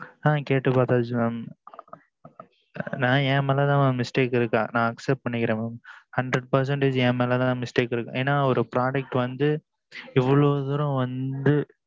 ஆ கேட்டு பாத்தாச்சு mam என் மேல mam mistake இருக்கு நா accept பண்ணிக்கிறேன் mam hundred percentage என்மேல தான் mistake இருக்கு என் ஆ ஓர் product வந்து இவ்வளவு தூரம் வந்து